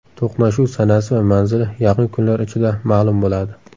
To‘qnashuv sanasi va manzili yaqin kunlar ichida ma’lum bo‘ladi.